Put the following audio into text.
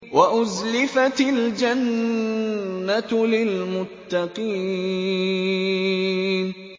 وَأُزْلِفَتِ الْجَنَّةُ لِلْمُتَّقِينَ